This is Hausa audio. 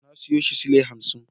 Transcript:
Na siyo shi sule hamsin.